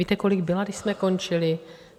Víte, kolik byla, když jsme končili?